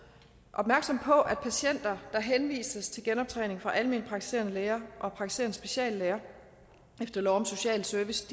opmærksomme på at patienter der henvises til genoptræning fra alment praktiserende læger og praktiserende speciallæger efter lov om social service